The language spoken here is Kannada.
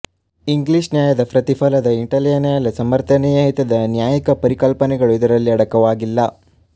ಇಂಗ್ಲಿಷ್ ನ್ಯಾಯದ ಪ್ರತಿಫಲದ ಇಟಲಿಯ ನ್ಯಾಯದ ಸಮರ್ಥನೀಯ ಹಿತದ ನ್ಯಾಯಿಕ ಪರಿಕಲ್ಪನೆಗಳು ಇದರಲ್ಲಿ ಅಡಕವಾಗಿಲ್ಲ